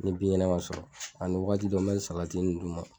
Ni binkɛnɛ man sɔrɔ ani wakati dɔ n bɛ salati nin d'u ma.